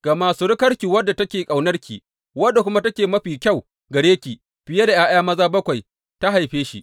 Gama surukarki wadda take ƙaunarki wadda kuma take mafi kyau gare ki fiye da ’ya’ya maza bakwai, ta haife shi.